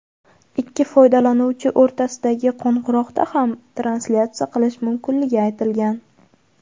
ikki foydalanuvchi o‘rtasidagi qo‘ng‘iroqda ham translyatsiya qilish mumkinligi aytilgan.